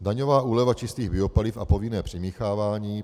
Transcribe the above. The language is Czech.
Daňová úleva čistých biopaliv a povinné přimíchávání.